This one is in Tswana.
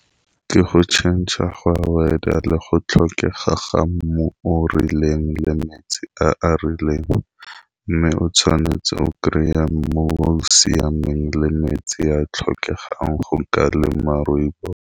Ke go tšhentšhe ga weather le go tlhokega ga mmu o rileng le metsi a a rileng, mme o tshwanetse o kry-a mmu o o siameng le metsi a a tlhokegang go ka lema rooibos.